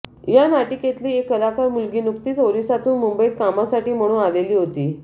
या नाटिकेतली एक कलाकार मुलगी नुकतीच ओरिसातून मुंबईत कामासाठी म्हणून आलेली होती